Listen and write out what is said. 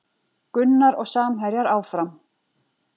Gunnar og samherjar áfram